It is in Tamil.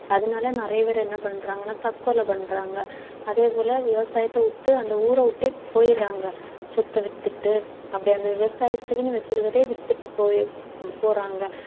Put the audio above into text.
அதனால நிறைய பேர் என்ன பண்றாங்கன்னா தற்கொலை பண்றாங்க அதே போல விவசாயத்தை விட்டு அந்த ஊரை விட்டே போயிடறாங்க, சொத்தை வித்துட்டு அப்படியே அந்த விவசாயத்துக்குன்னு வச்சிருக்கறதையே வித்துட்டு போய~ போறாங்க